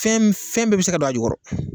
Fɛn fɛn bɛɛ bɛ se ka don a jukɔrɔ